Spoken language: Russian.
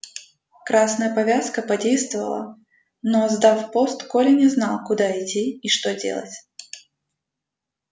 красная повязка подействовала но сдав пост коля не знал куда идти и что делать